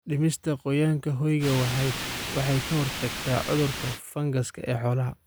Dhimista qoyaanka hoyga waxay ka hortagtaa cudurada fangas ee xoolaha.